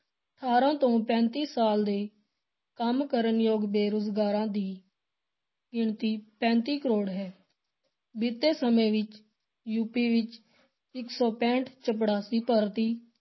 ਅਠਾਰਾਂ ਤੋਂ ਪੈਂਤੀ ਸਾਲ ਦੇ ਕੰਮ ਕਰਨ ਯੋਗ ਬੇਰੁਜ਼ਗਾਰਾਂ ਦੀ ਗਿਣਤੀ ਪੈਂਤੀ ਕਰੋੜ ਹੈ, ਬੀਤੇ ਸਮੇਂ ਵਿੱਚ ਯੂਪੀ ਵਿੱਚ ਇੱਕ ਸੌ ਪੈਂਹਠ ਚਪੜਾਸੀ ਭਰਤੀ